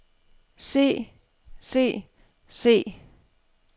se se se